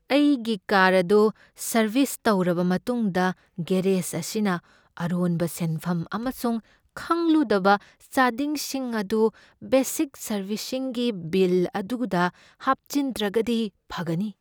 ꯑꯩꯒꯤ ꯀꯥꯔ ꯑꯗꯨ ꯁꯔꯕꯤꯁ ꯇꯧꯔꯕ ꯃꯇꯨꯡꯗ ꯒꯦꯔꯦꯖ ꯑꯁꯤꯅ ꯑꯔꯣꯟꯕ ꯁꯦꯟꯐꯝ ꯑꯃꯁꯨꯡ ꯈꯪꯂꯨꯗꯕ ꯆꯥꯗꯤꯡꯁꯤꯡ ꯑꯗꯨ ꯕꯦꯁꯤꯛ ꯁꯔꯕꯤꯁꯤꯡꯒꯤ ꯕꯤꯜ ꯑꯗꯨꯗ ꯍꯥꯞꯆꯤꯟꯗ꯭ꯔꯒꯗꯤ ꯐꯒꯅꯤ꯫